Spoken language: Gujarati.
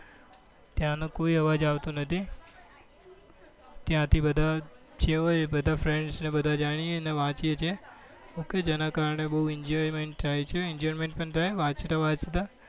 ત્યાં નો કોઈ અબ્વાજ આવતો નથી ત્યાં થી બધા જે હોય એ બધા friends ને બધા જાય હીએ અને વાંચીએ છીએ ok જેના કારણે બઉ enjoyment પણ થાય છે enjoyment પણ થાય વાંચતા વાંચતા